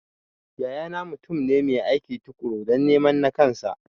Yaya na mutum ne mai aiki tukuru dan neman nakansa